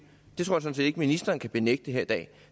ikke at ministeren kan benægte her i dag at